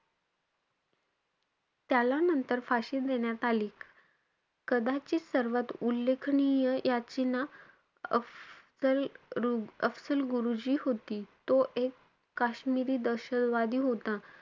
त्याला नंतर फाशी देण्यात आली. कदाचित सर्वात उल्लेखनीय याचना, अफजल~ अफजल गुरुची होती. तो एक काश्मिरी दहशतवादी होता.